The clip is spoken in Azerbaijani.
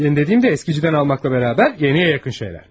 Yeni dediyim də eskicidən almaqla bərabər, yeniyə yaxın şeylərdir.